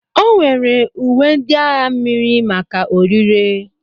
O nwere uwe ndị agha mmiri maka ọrịre.